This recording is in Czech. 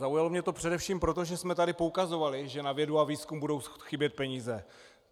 Zaujalo mě to především proto, že jsme tady poukazovali, že na vědu a výzkum budou chybět peníze.